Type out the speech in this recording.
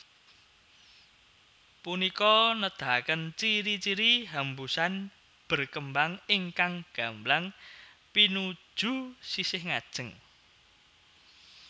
Punika nedahaken ciri ciri hembusan berkembang ingkang gamblang pinuju sisih ngajeng